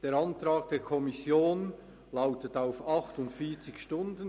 Der Antrag der Kommission lautet auf 48 Stunden.